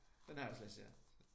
Den har jeg også læst ja